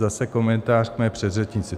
Zase komentář k mé předřečnici.